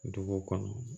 Dugu kɔnɔ